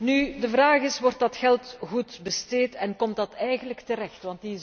Raad. Nu is de vraag wordt dat geld goed besteed en waar komt het eigenlijk terecht?